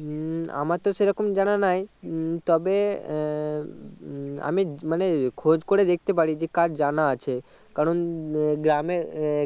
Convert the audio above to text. উম আমার তো সেইরকম জানা নাই উম তবে আহ উম আমি মানে খোঁজ করে দেখতে পারি কার জানা আছে কারণ এ গ্রামে